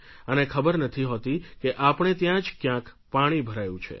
અને ખબર નથી હોતી કે આપણે ત્યાં જ ક્યાંક પાણી ભરાયું છે